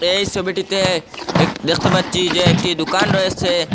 এই সবিটিতে এক দেখতে পাচ্ছি যে একটি দুকান রয়েসে।